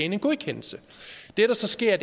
en godkendelse det der så sker er